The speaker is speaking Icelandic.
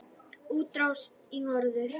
Útrás í norður